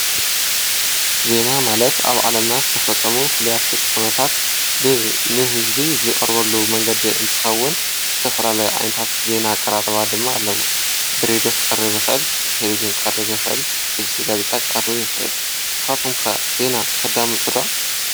ዜና ማለት አብ ዓለምና ዝተፈፀሙ ፍሉያት ፍፃመ ንህዝቢ ዝቀርበሉ መንገዲ እንትኸውን ዝተፈላለዩ ዓይነት ዜና አቀራርባ ድማ አለዉ ብሬድዮ ብቲቪ ክቀርብ ይኽእል ንስኹም ከ ዜና ተዳምፁ ዶ?